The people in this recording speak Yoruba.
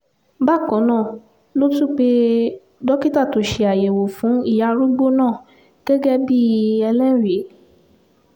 bákan náà ló tún pe dókítà tó ṣe àyẹ̀wò fún ìyá arúgbó náà gẹ́gẹ́ bíi ẹlẹ́rìí